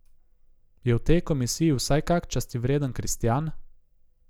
Je v tej komisiji vsaj kak častivreden kristjan?